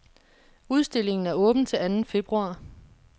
Udstillingen er åben til anden februar.